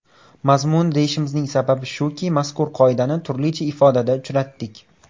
Mazmuni deyishimizning sababi shuki, mazkur qoidani turlicha ifodada uchratdik.